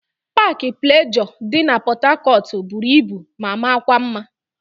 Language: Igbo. Paakị Plejọọ dị na Pọtakọtụ buru ibu ma makwa mma.